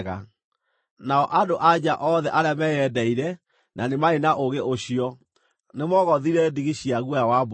Nao andũ-a-nja othe arĩa meyendeire na nĩ maarĩ na ũũgĩ ũcio, nĩmoogothire ndigi cia guoya wa mbũri.